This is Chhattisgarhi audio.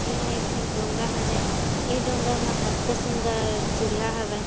एहा एक ठन डोंगा हरे एह डोंगा म कतका सुंदर चिढ़िया हवे।